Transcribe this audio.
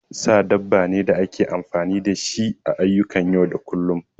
Sa dabba ne da ake amfani da shi a ayyukan yau da kullum